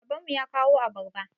Baban mu ya kawo abarba.